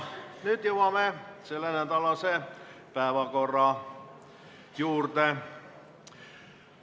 Nüüd jõuame selle nädala päevakorra juurde.